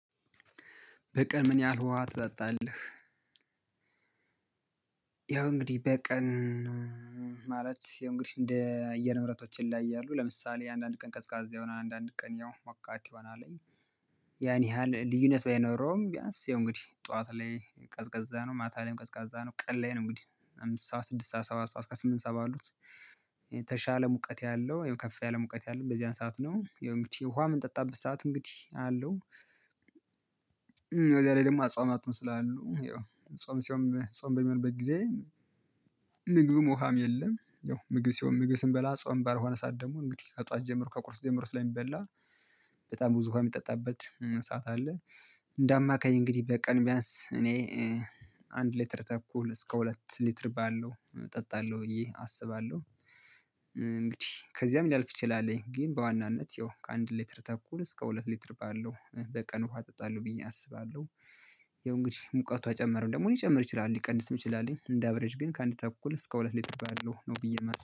በቀን ምን ያህል ውሃ ትጠጣለህ? ያው እንግዲህ በቀን ማለት ያው እንግዲህ እንደ አየር ንብረቶች ይለያያሉ ለምሳሌ አንዳንድ ቀን ቀዝቃዛ ይሆናል አንዳንድ ቀን ያው ሞቃት ይሆናል ያን ያህል ልዩነት ባይኖረውም ቢያንስ ያው እንግዲህ ጠዋት ላይ ቀዝቃዛ ነው ማታ ላይ ቀዝቃዛ ነው ቀን ላይ ነው እንግዲህ አምስት ሰዓት ስድስት ሰባት ሰዓት እስከ ስምንት ሰዓት ባሉት የተሻለ ሙቀት ያለው ያው ከፍ ያለም ሙቀት ያለው በዚያን ሰዓት ነው ያው እንግዲህ ውሃ ምንጠጣበት ሰዓት እንግዲህ አለው በዛ ላይ ደግሞ አጽዋማቱም ስላሉ ያው ጾም ሲሆን ጾም በሚሆንበት ጊዜ ምግብም ውሃም የለም ያው ምግብ ሲሆን ምግብ ስንበላ ጾም ባልሆነ ሰዓት ደግሞ እንግዲህ ከጧት ጀመሮ ከቁርስ ጀመሮ ስለሚበላ በጣም ብዙ ውሃ የሚጠጣበት ሰዓት አለ እንደ አማካይ እንግዲህ በቀን ቢያንስ እኔ አንድ ሊትር ተኩል እስከ ሁለት ሊትር ባለው እጠጣለሁ ብዬ አስባለሁ እንግዲህ ከዚያም ሊያልፍ ይችላል ግን በዋናነት ያው ከአንድ ሊትር ተኩል እስከ ሁለት ሊትር ባለው በቀን ውሃ እጠጣለሁ ብዬ አስባለሁ ያው እንግዲህ ሙቀቱ ከጨመረም ደግሞ ሊጨምር ይችላል ሊቀንስም ይችላል ግን እንደ አሸሬጅ ግን ከአንድ ተኩል እስከ ሁለት ሊትር ባለው ነው ብዬ የማስበው